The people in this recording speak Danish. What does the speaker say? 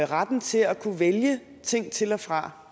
retten til at kunne vælge ting til og fra